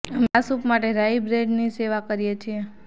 અમે આ સૂપ માટે રાઈ બ્રેડની સેવા કરીએ છીએ